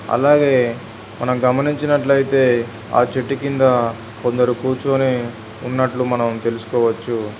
అలాగే మనం గమనించినట్లయితే ఆ చెట్టు కింద కొందరు కూర్చొని ఉన్నట్లు మనం తెలుసుకోవచ్చు.